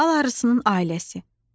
Bal arısının ailəsi.